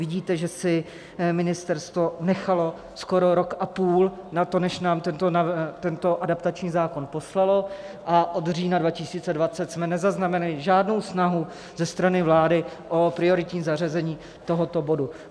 Vidíte, že si ministerstvo nechalo skoro rok a půl na to, než nám tento adaptační zákon poslalo, a od října 2020 jsme nezaznamenali žádnou snahu ze strany vlády o prioritní zařazení tohoto bodu.